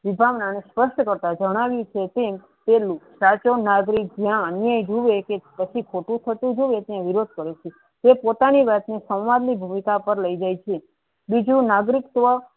વિભાગ નાને સ્વસ્થ કરતા જણાવી છે કે પેહલું સાચો નાગરિક જ્યા અન્યાય જુવે કે પછી ખોટુ થતુ જોયીયે ત્યા વિરોધ કરે છે તે પોતાની સમાજની ભૂમિકા પર લઇ જાયે છે બીજુ નાગરિક હોવા.